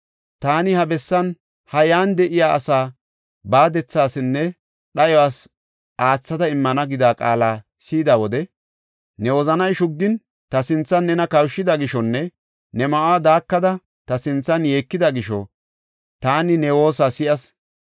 Taani ha bessaanne iyan de7iya asa baadethasinne dhayos aathada immana gida qaala si7ida wode, ne wozanay shuggin, ta sinthan nena kawushida gishonne ne ma7uwa daakada, ta sinthan yeekida gisho, taani ne woosa si7as.